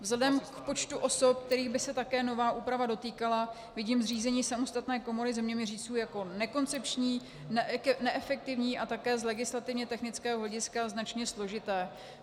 Vzhledem k počtu osob, kterých by se také nová úprava dotýkala, vidím zřízení samostatné komory zeměměřičů jako nekoncepční, neefektivní a také z legislativně technického hlediska značně složité.